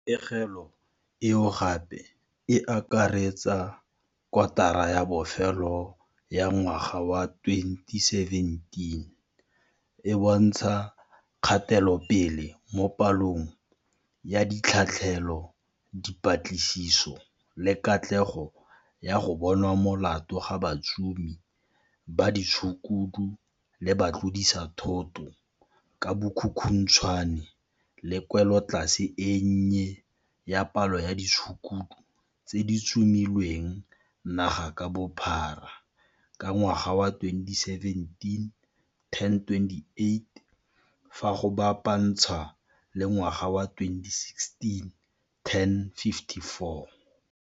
Pegelo, eo gape e akaretsang kotara ya bofelo ya ngwaga wa 2017, e bontsha kgatelopele mo palong ya ditlhatlhelo, dipatlisiso le katlego ya go bonwa molato ga batsomi ba ditshukudu le batlodisathoto ka bokhukhuntshwane le kwelotlase e nnye ya palo ya ditshukudu tse di tsomilweng naga ka bophara ka ngwaga wa 2017, 1028, fa go bapa ntshwa le ngwaga wa 2016,1054.